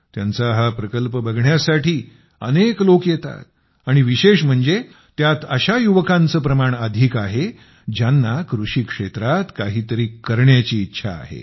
त्यांचा हा प्रकल्प बघण्यासाठी दूरदुरून अनेक लोक येतात आणि विशेष म्हणजे त्यात अशा युवकांचे प्रमाण अधिक आहे ज्यांना कृषीक्षेत्रात काहीतरी करण्याची इच्छा आहे